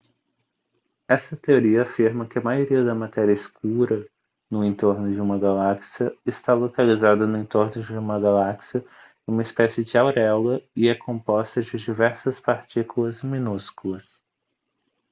esta teoria afirma que a maioria da matéria escura no entorno de uma galáxia está localizada no entorno de uma galáxia em uma espécie de auréola e é composta de diversas partículas minúsculas